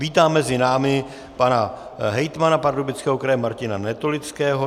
Vítám mezi námi pana hejtmana Pardubického kraje Martina Netolického.